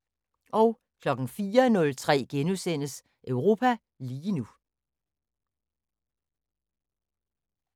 04:03: Europa lige nu *